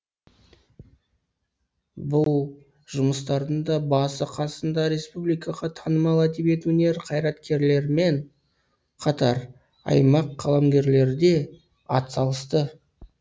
бұл жұмыстардың да басы қасында республикаға танымал әдебиет өнер қайраткерлерімен қатар аймақ қаламгерлері де атсалысты